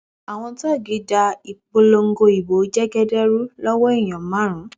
àwọn tóògì da ìpolongo ìbò jẹgẹdẹ rú lọwọ èèyàn márùn